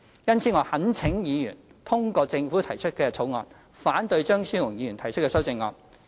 因此，我懇請議員通過政府提出的《條例草案》，反對張超雄議員提出的修正案。